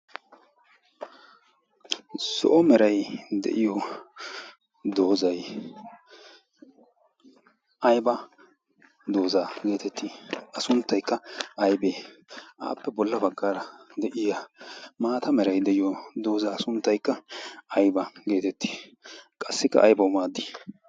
solo meray de'iyo doozay ayba doozaa geetettii? asunttaykka aybee aappe bolla baggaara de'iya maata meray de'iyo doozaa asunttaikka ayba' geetettii qassikka aybau maaddii?